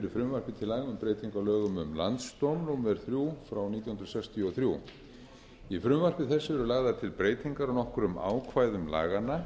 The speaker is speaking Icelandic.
sextíu og þrjú í frumvarpi þessu eru lagðar til breytingar á nokkrum ákvæðum laganna